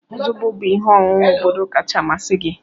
Zobo bụ ihe ọṅụṅụ obodo kacha amasị gị.